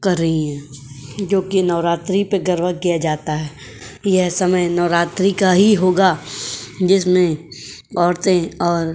कर रही हैं जोकि नवरात्रि में गरबा किया जाता है। यह समय नवरात्रि का ही होगा जिसमें औरतें और --